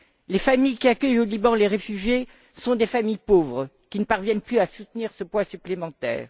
Les familles qui accueillent au Liban les réfugiés sont des familles pauvres, qui ne parviennent plus à soutenir ce poids supplémentaire.